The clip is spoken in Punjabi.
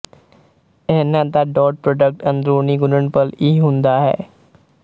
ਇਹਨਾਂ ਦਾ ਡੌਟ ਪ੍ਰੋਡਕਟ ਅੰਦਰੂਨਿ ਗੁਣਨਫਲ ਇਹ ਹੁੰਦਾ ਹੈ